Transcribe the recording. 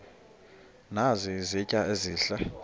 nazi izitya ezihle